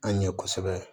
An ɲɛ kosɛbɛ